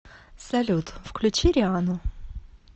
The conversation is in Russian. салют включи риану